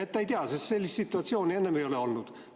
Ta ei tea, sest sellist situatsiooni enne ei ole olnud.